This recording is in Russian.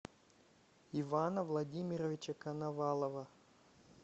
ивана владимировича коновалова